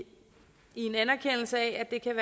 en anerkendelse af at det kan